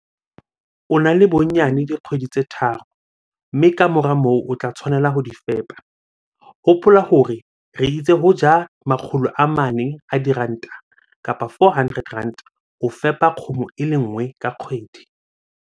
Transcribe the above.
O na le bonyane dikgwedi tse tharo, mme ka mora moo o tla tshwanela ho di fepa. Hopola hore re itse ho ja R400 ho fepa kgomo e le nngwe ka kgwedi.